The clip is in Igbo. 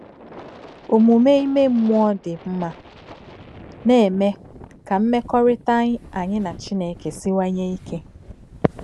Omume ime mmụọ dị mma na-eme ka mmekọrịta anyị na Chineke siwanye ike